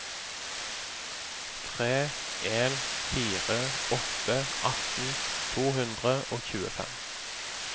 tre en fire åtte atten to hundre og tjuefem